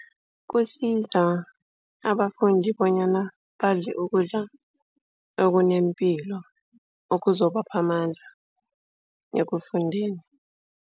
Kusiza abafundi bonyana badle ukudla okunepilo, okuzobapha amandla ekufundeni.